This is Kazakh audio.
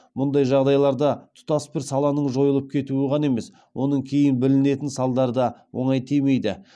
мұндай жағдайда тұтас бір саланың жойылып кетуі ғана емес оның кейін білінетін салдары да оңай тимейді